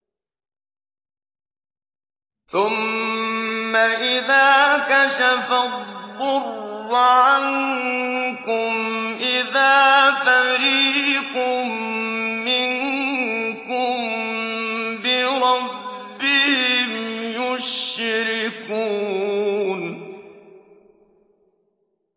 ثُمَّ إِذَا كَشَفَ الضُّرَّ عَنكُمْ إِذَا فَرِيقٌ مِّنكُم بِرَبِّهِمْ يُشْرِكُونَ